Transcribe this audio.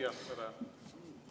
Jaa, aitäh!